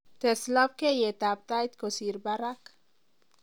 tes labkeiyet at tait kosir barak